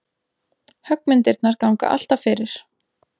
Höggmyndirnar ganga alltaf fyrir.